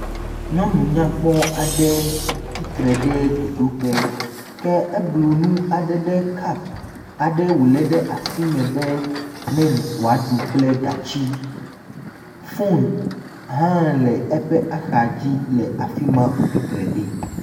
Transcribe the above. Nyɔnu nyakpɔ aɖe tsi tre ɖe dzodoƒe ke eblu nu aɖe ɖe kapu aɖe wòlé ɖe asime be ne wòaɖu kple gatsi. Foni hã le eƒe ahadzi le afi ma wòtsi tre ɖi.